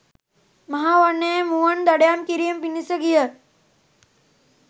මහා වනයේ මුවන් දඩයම් කිරීම පිණිස ගිය